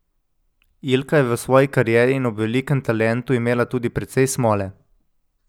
Ilka je v svoji karieri in ob velikem talentu imela tudi precej smole.